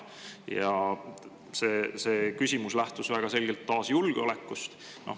Ja see küsimus lähtus väga selgelt taas julgeolekust.